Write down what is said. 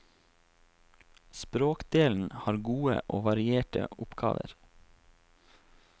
Språkdelen har gode og varierte oppgaver.